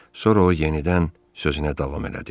Sonra o yenidən sözünə davam elədi.